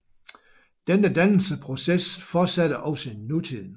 Denne dannelsesproces fortsætter også i nutiden